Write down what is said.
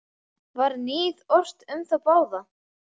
Var níð ort um þá báða.